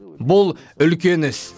бұл үлкен іс